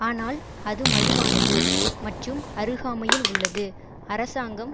ஆனால் அது மலிவானது மற்றும் அருகாமையில் உள்ளது அரசாங்கம்